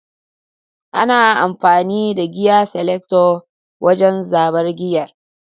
ana amfani da giyer selector wajen zaɓar giyer